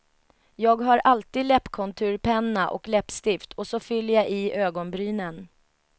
Jag har alltid läppkonturpenna och läppstift och så fyller jag i ögonbrynen.